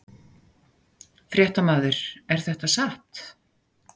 Fréttamaður: Er þetta satt?